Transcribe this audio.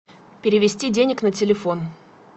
перевести денег на телефон